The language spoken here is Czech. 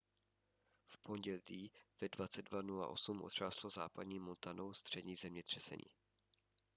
v pondělí ve 22:08 otřáslo západní montanou střední zemětřesení